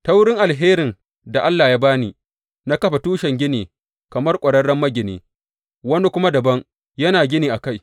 Ta wurin alherin da Allah ya ba ni, na kafa tushen gini kamar ƙwararren magini, wani kuma dabam yana gini a kai.